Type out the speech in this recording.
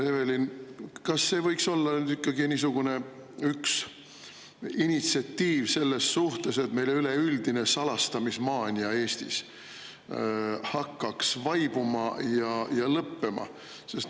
Evelin, kas see võiks olla nüüd ikkagi üks niisugune initsiatiiv selles suhtes, et meil hakkaks üleüldine salastamismaania Eestis vaibuma ja lõppema?